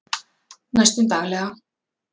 Næstum daglega